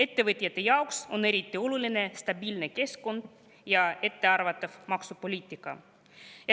Ettevõtjate jaoks on aga eriti oluline stabiilne keskkond ja ettearvatav maksupoliitika.